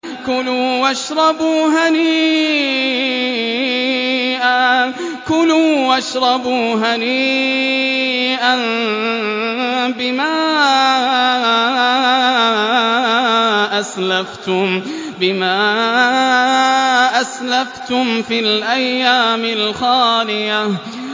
كُلُوا وَاشْرَبُوا هَنِيئًا بِمَا أَسْلَفْتُمْ فِي الْأَيَّامِ الْخَالِيَةِ